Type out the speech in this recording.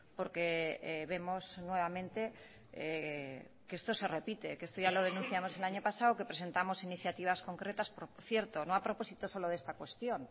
porque vemos nuevamente que esto se repite esto ya lo denunciamos el año pasado presentamos iniciativas concretas por cierto no a propósito solo de esta cuestión